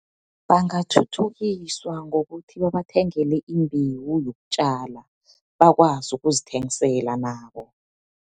Bangathuthukiswa ngokuthi babathengele imbewu yokutjala, bakwazi ukuzithengisela nabo.